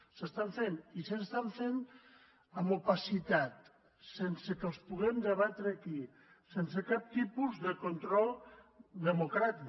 s’estan fent i s’estan fent amb opacitat sense que els puguem debatre aquí sense cap tipus de control democràtic